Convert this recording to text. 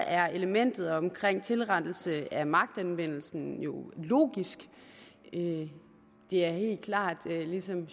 er elementet omkring tilrettelse af magtanvendelsen jo logisk det er helt klart og ligesom